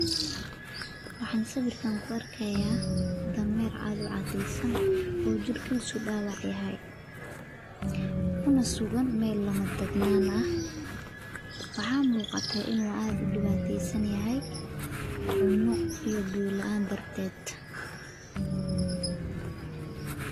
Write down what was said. Waxan sawirkan ku arkaya damer aad u catesan oo jirkisu dawac yahay kuna sugan meel lama dagnan ah waxana muqutaa in u aad u diwatesan yahay cuno ito biya laan darteed.